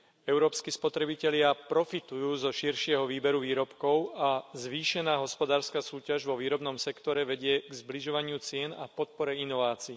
Európski spotrebitelia profitujú zo širšieho výberu výrobkov a zvýšená hospodárska súťaž vo výrobnom sektore vedie k zbližovaniu cien a podpore inovácií.